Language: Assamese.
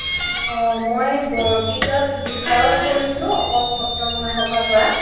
অ মই বৰগীত বিষাৰধ কৰিছো অসম সত্ৰ মহাসভাৰ পৰা